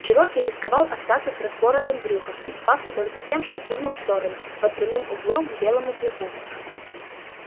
чероки рисковал остаться с распоротым брюхом и спасся только тем что прыгнул в сторону под прямым углом к белому клыку